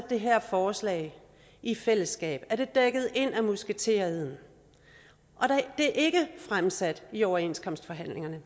det her forslag i fællesskab er det dækket ind af musketereden det er ikke fremsat i overenskomstforhandlingerne